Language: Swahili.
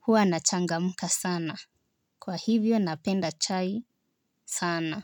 huwa nachangamka sana. Kwa hivyo napenda chai sana.